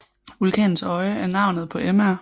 Vulkanens Øje er navnet på Mr